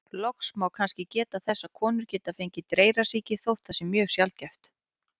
Loks má kannski geta þess að konur geta fengið dreyrasýki, þótt það sé mjög sjaldgæft.